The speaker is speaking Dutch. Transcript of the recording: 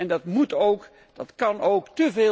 Dat moet ook en dat kan ook.